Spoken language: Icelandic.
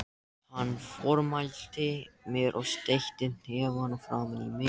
Hann formælti mér og steytti hnefann framan í mig.